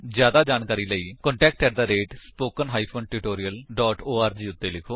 ਜਿਆਦਾ ਜਾਣਕਾਰੀ ਲਈ ਕ੍ਰਿਪਾ ਕੰਟੈਕਟ ਸਪੋਕਨ ਟਿਊਟੋਰੀਅਲ ਓਰਗ ਉੱਤੇ ਲਿਖੋ